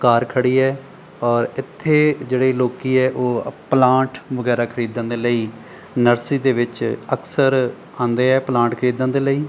ਕਾਰ ਖੜੀ ਹੈ ਔਰ ਇੱਥੇ ਜਿਹੜੇ ਲੋਕੀ ਹੈ ਉਹ ਪਲਾਂਟ ਵਗੈਰਾ ਖਰੀਦਣ ਦੇ ਲਈ ਨਰਸਰੀ ਦੇ ਵਿੱਚ ਅਕਸਰ ਆਉਂਦੇ ਆ ਪਲਾਂਟ ਖਰੀਦਣ ਦੇ ਲਈ।